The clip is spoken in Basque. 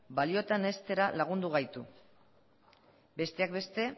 balioetan heztera lagundu gaitu besteak beste